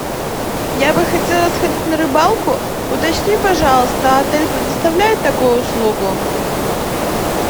я бы хотела сходить на рыбалку уточни пожалуйста отель предоставляет такую услугу